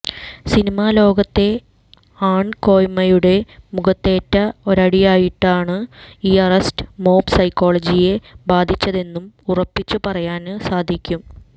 സിനിമാലോകത്തെ ആണ്കോയ്മയുടെ മുഖത്തേറ്റ ഒരടിയായിട്ടാണ് ഈ അറസ്റ്റ് മോബ് സൈക്കോളജിയെ ബാധിച്ചതെന്ന് ഉറപ്പിച്ചു പറയാന് സാധിക്കും